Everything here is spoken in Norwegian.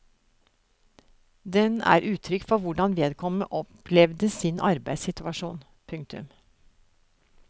Den er uttrykk for hvordan vedkommende opplevde sin arbeidssituasjon. punktum